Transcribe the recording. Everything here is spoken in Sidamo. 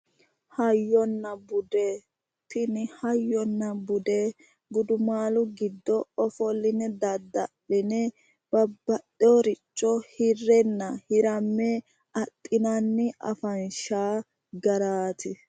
Hayyona bude, tini hayyona bude gudumaalu giddo ofolline dadda'line babbaxxewooricho hirrenna hiramme adhinanni afanshi garaati.